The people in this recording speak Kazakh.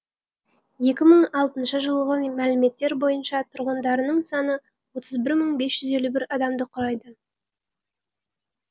екі мың алтыншы жылғы мәліметтер бойынша тұрғындарының саны отыз бір мың бес жүз елу бір адамды құрайды